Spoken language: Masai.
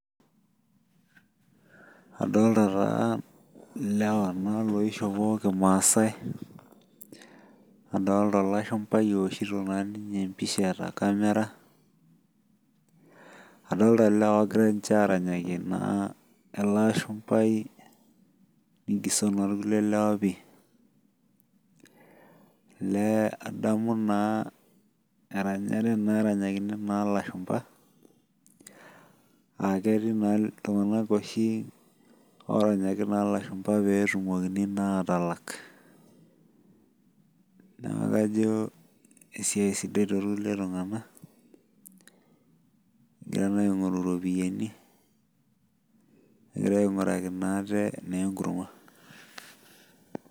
adolta naa ilewa loishopo kimasai nadolta olashumbai ooshito naa ninye embisha eta kamira, adolta ilewa oogira aranyaki niche ele ashumbai , elee adamu naa eranyakini naa ilashumba, aa ketii naa iltung'anak oshi oranyaki naa ilashumba pee eetum naa iropiyiani, neeku kajo esiai sidai too ikulie tung'anak egira naa aing'oru iropiyiani egira naa ainguraki ate enkurma.